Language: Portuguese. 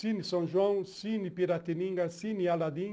Cine São João, Cine Piratininga, Cine Aladim.